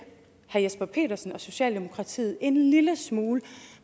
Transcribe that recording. herre jesper petersen og socialdemokratiet en lille smule